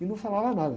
E não falava nada.